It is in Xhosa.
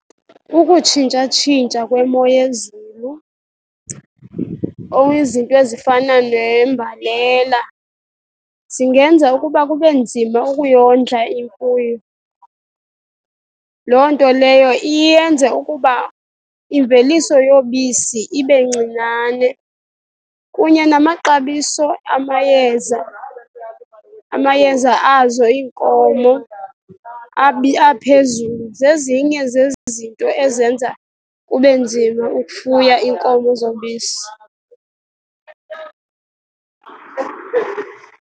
Ukutshintshatshintsha kwemo yezulu or izinto ezifana nembalela zingenza ukuba kube nzima ukuyondla imfuyo. Loo nto leyo iye yenze ukuba imveliso yobisi ibe ncinane. Kunye namaxabiso amayeza, amayeza azo iinkomo aphezulu, zezinye zezinto ezenza kube nzima ukufuya iinkomo zobisi.